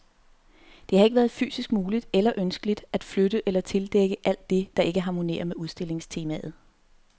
Det har ikke været fysisk muligt, eller ønskeligt, at flytte eller tildække alt det, der ikke harmonerer med udstillingstemaet.